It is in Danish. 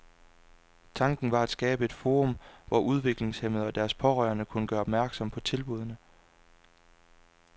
Tanken var at skabe et forum, hvor udviklingshæmmede og deres pårørende kunne gøre opmærksom på tilbudene.